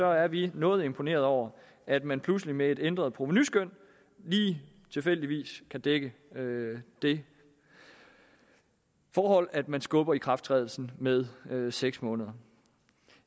er vi noget imponerede over at man pludselig med et ændret provenuskøn lige tilfældigvis kan dække det forhold at man skubber ikrafttrædelsen med med seks måneder